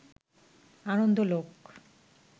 Anandalok